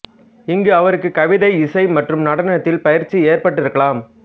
இங்கு அவருக்கு கவிதை இசை மற்றும் நடனத்தில் பயிற்சி ஏற்பட்டிருக்கலாம்